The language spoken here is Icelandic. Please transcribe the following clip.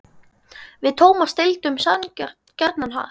Við Tómas deildum gjarnan hart.